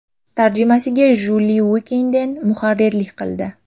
Tarjimaga Juli Uikenden muharrirlik qildi.